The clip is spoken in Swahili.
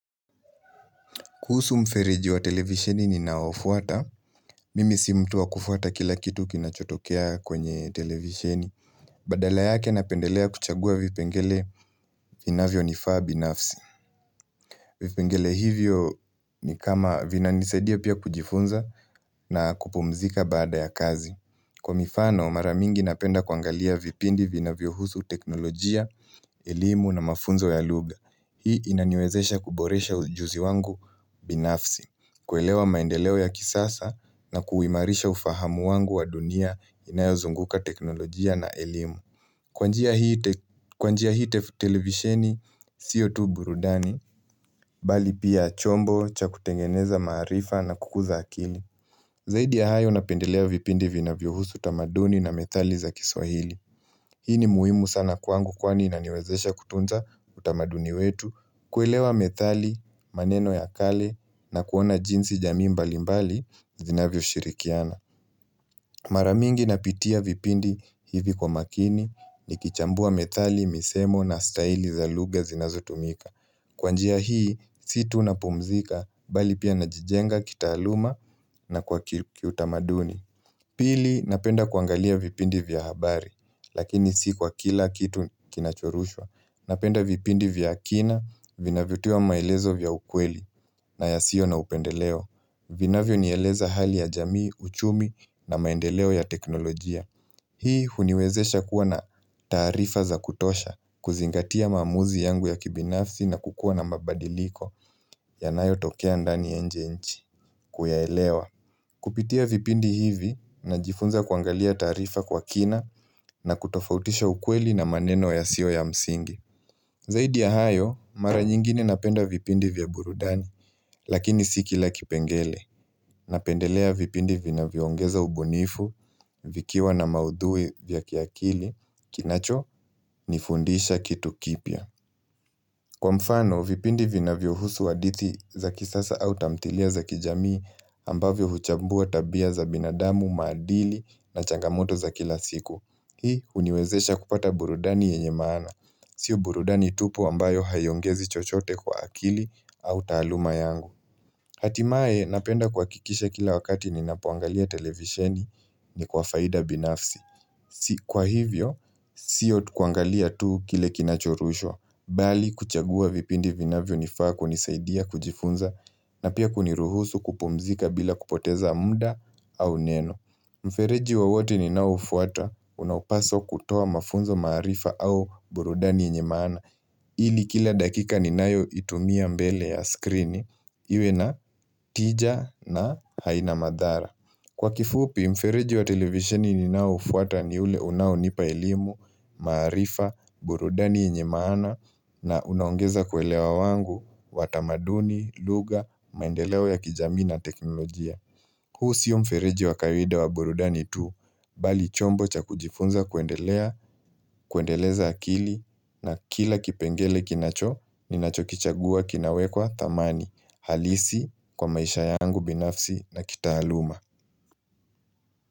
Kuhusu mferiji wa televisheni nayofuata. Mimi si mtu wa kufuata kila kitu kinachotokea kwenye televisheni. Badala yake napendelea kuchagua vipengele inavyo nifaa binafsi. Vipengele hivyo ni kama vina nisaidia pia kujifunza na kupumzika baada ya kazi. Kwa mifano, mara mingi napenda kwangalia vipindi vina vyohusu teknolojia, elimu na mafunzo ya luga. Hii inaniwezesha kuboresha ujuzi wangu binafsi, kuelewa maendeleo ya kisasa na kuwimarisha ufahamu wangu wa dunia inayozunguka teknolojia na ilimu. Kwa njia hii televisheni, siyo tu burudani, bali pia chombo cha kutengeneza marifa na kukuza akili. Zaidi ya hayo napendelea vipindi vinavyo husu utamaduni na methali za kiswahili. Hii ni muhimu sana kwangu kwani na niwezesha kutunza utamaduni wetu kuelewa methali maneno ya kale na kuona jinsi jami mbali mbali zinavyo shirikiana. Mara mingi napitia vipindi hivi kwa makini ni kichambua methali misemo na staihili za lugha zinazo tumika. Kwanjia hii si tunapomzika bali pia najijenga kitaluma na kwa kiutamaduni Pili napenda kuangalia vipindi vya habari Lakini si kwa kila kitu kinachorushwa Napenda vipindi vya akina vina vituwa maelezo vya ukweli na yasio na upendeleo vinavyo ni eleza hali ya jamii, uchumi na maendeleo ya teknolojia Hii uniwezesha kuwa na tarifa za kutosha kuzingatia mamuzi yangu ya kibinafsi na kukua na mabadiliko yanayo tokea ndani nje ya nchi Kuyaelewa. Kupitia vipindi hivi, najifunza kuangalia tarifa kwa kina na kutofautisha ukweli na maneno ya sio ya msingi. Zaidi ya hayo Mara nyingine napenda vipindi vya burudani Lakini sikila kipengele. Napendelea vipindi vina viongeza ubunifu Vikiwa na maudhui vya kiakili Kinacho nifundisha kitu kipia. Kwa mfano, vipindi vinavyo husu wa diti za kisasa au tamtilia za kijamii ambavyo huchambua tabia za binadamu, madili na changamoto za kila siku. Hii uniwezesha kupata burudani yenye maana. Sio burudani tupu ambayo hayongezi chochote kwa akili au taluma yangu. Hatimaye napenda kuhakikisha kila wakati ninapuangalia televisheni ni kwa faida binafsi. Kwa hivyo, siyo tukuangalia tuu kile kinachorushwa, bali kuchagua vipindi vinavyo nifaa kunisaidia kujifunza na pia kuniruhusu kupumzika bila kupoteza muda au neno. Mfereji wa wote ni nao ufuata, unaupaso kutoa mafunzo marifa au burudani nyeye maana, ili kila dakika ni nayo itumia mbele ya skrini, iwe na tija na haina madhara. Kwa kifupi, mfereji wa televisioni ninao ufuata ni ule unao nipa elimu, maarifa, burudani nyeye maana na unaongeza kuelewa wangu, watamaduni, luga, maendeleo ya kijami na teknolojia. Huu siyo mfereji wa kawaida wa burudani tuu, bali chombo cha kujifunza kuendelea, kuendeleza akili na kila kipengele kinacho, ninacho kichagua kinawekwa thamani, halisi kwa maisha yangu binafsi na kitahaluma.